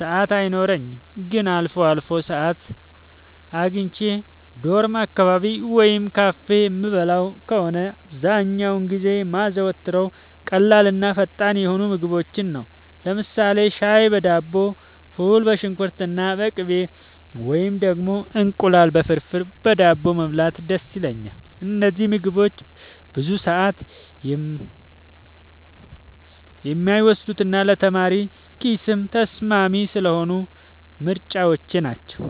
ሰዓት አይኖረኝም። ግን አልፎ አልፎ ሰዓት አግኝቼ ዶርም አካባቢ ወይም ካፌ የምበላ ከሆነ፣ አብዛኛውን ጊዜ የማዘወትረው ቀላልና ፈጣን የሆኑ ምግቦችን ነው። ለምሳሌ ሻይ በዳቦ፣ ፉል በሽንኩርትና በቅቤ፣ ወይም ደግሞ እንቁላል ፍርፍር በዳቦ መብላት ደስ ይለኛል። እነዚህ ምግቦች ብዙ ሰዓት የማይወስዱና ለተማሪ ኪስም ተስማሚ ስለሆኑ ምርጫዎቼ ናቸው።